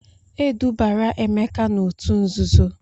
E dubara Emeka n'òtù nzuzo.